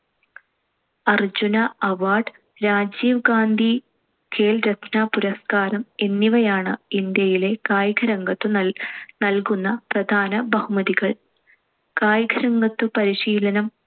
Arjuna award, Rajiv Gandhi Khel Ratna പുരസ്കാരം എന്നിവയാണ്‌ ഇന്ത്യയിലെ കായികരംഗത്തു നല്‍~ നൽകുന്ന പ്രധാന ബഹുമതികൾ. കായികരംഗത്തു പരിശീലനം